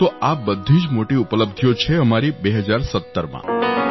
તો આ બધી મોટી ઉપલબ્ધિઓ છે અમારી 2017માં